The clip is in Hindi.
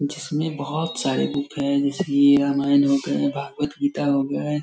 जिसमे बहुत सारे बुक है जैसे की रामायण हो गए भागवद गीता हो गए ।